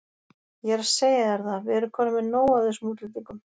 Ég er að segja þér það, við erum komnir með nóg af þessum útlendingum.